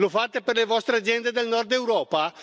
Lo fate per le vostre aziende del Nord Europa?